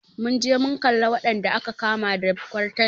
Mun je mun kalla wadanda aka kama da kwartanci.